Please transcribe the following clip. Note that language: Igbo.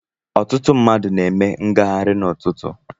Ọtụtụ mmadụ na-eme ngaghari n'ututu.